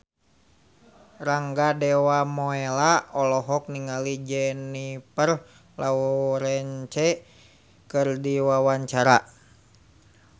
Rangga Dewamoela olohok ningali Jennifer Lawrence keur diwawancara